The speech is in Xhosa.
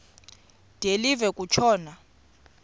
de live kutshona